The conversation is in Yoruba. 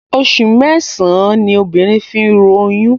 Oṣù mẹ́sàn-án ní obìnrin fi ń ru oyún